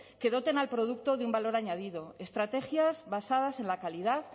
que doten al producto de un valor añadido estrategias basadas en la calidad